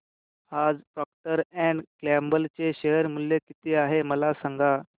आज Procter and Gamble चे share मूल्य किती आहे मला सांगा